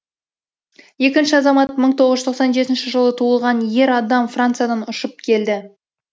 екінші азамат мың тоғыз жүз тоқсан жетінші жылы туылған ер адам франциядан ұшып келді